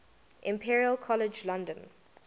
imperial college london